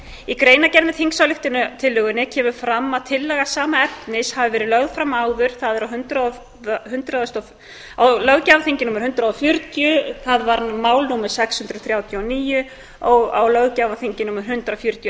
í greinargerð með þingsályktunartillögunni kemur fram að tillaga sama efnis hafi verið lögð fram áður það er á löggjafarþingi númer hundrað og fjörutíu það var mál númer sex hundruð þrjátíu og níu á löggjafarþingi númer hundrað fjörutíu og